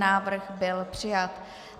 Návrh byl přijat.